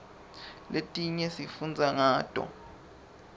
letinye sifundza ngato